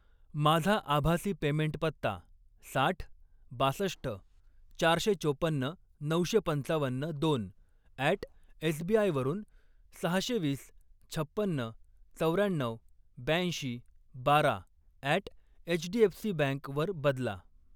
माझा आभासी पेमेंट पत्ता साठ, बासष्ट, चारशे चोपन्न, नऊशे पंचावन्न, दोन अॅट एसबीआय वरून सहाशे वीस, छपन्न, चौर्याण्णऊ, ब्याऐंशी, बारा अॅट एचडीएफसीबँक वर बदला